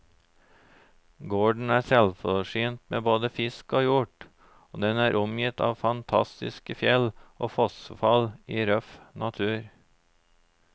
Gården er selvforsynt med både fisk og hjort, og den er omgitt av fantastiske fjell og fossefall i røff natur.